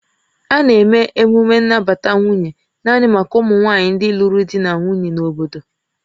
A na-eme emume nnabata nwunye naanị maka ụmụ nwanyị ndị lụrụ di na nwunye na obodo